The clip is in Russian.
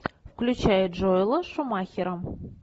включай джоэла шумахера